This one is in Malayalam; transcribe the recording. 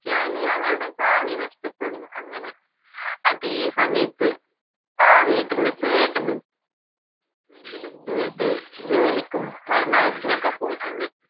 റ്റിയാൽ അവളുടെ ഭാവി നഷ്ടപ്പെടും അങ്ങനെ അതെ സമയത്ത് ആ വീട്ടിലെ ചേട്ടനും ഇതിലും ദൂരത്ത് ജോലിക്കും പഠനാവശ്യത്തിനൊക്കെ പോയിട്ടുണ്ട്